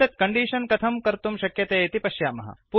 एतत् कण्डीषन् कथं कर्तुं शक्यते इति पश्यामः